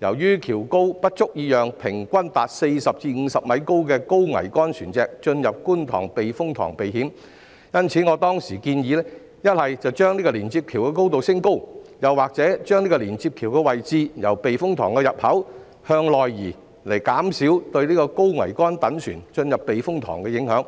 由於橋高不足以讓平均達40至50米高的高桅杆船隻進入觀塘避風塘避險，因此我當時建議一則把連接橋的高度升高，二則連接橋的位置由避風塘入口處向內移，以減少對高桅杆躉船進入避風塘的影響。